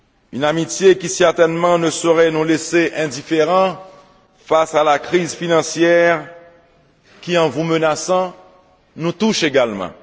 Une amitié qui certainement ne saurait nous laisser indifférents face à la crise financière qui, en vous menaçant, nous touche également.